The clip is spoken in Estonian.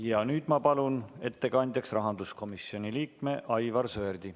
Ja nüüd ma palun ettekandjaks rahanduskomisjoni liikme Aivar Sõerdi.